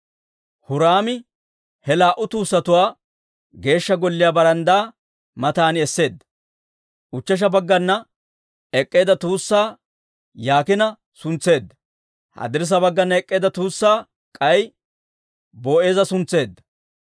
Huraami he laa"u tuussatuwaa Geeshsha Golliyaa baranddaa matan esseedda. Ushechcha baggana ek'k'eedda tuussaa Yaakiina suntseedda; haddirssa baggana ek'k'eedda tuussaa k'ay Boo'eeza suntseedda.